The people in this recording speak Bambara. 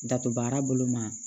Dato baara bolo ma